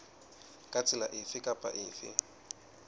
ka tsela efe kapa efe